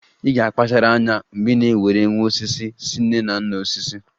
Ị ga-akpachara anya mgbe ị na-ewere nwa osisi si nne na nna osisi!